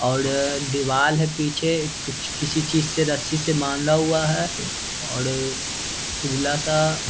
औड़ दीवाल है पीछे कुछ किसी चीज से रस्सी से बांधा हुआ है औड़ उजला-सा --